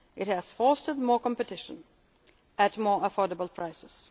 of jobs. It has fostered more competition, at more affordable